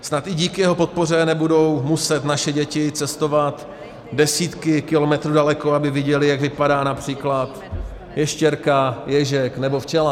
Snad i díky jeho podpoře nebudou muset naše děti cestovat desítky kilometrů daleko, aby viděly, jak vypadá například ještěrka, ježek nebo včela.